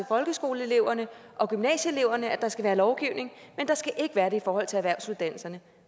folkeskoleeleverne og gymnasieeleverne at der skal være lovgivning der skal ikke være det i forhold til erhvervsuddannelserne